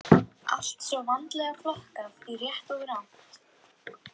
Það væri fullt tilefni til þess, hafði hún sagt.